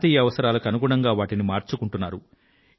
ప్రాంతీయ అవసరాలకు అనుగుణంగా వాటిని మార్చుకుంటున్నారు